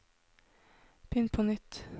begynn på nytt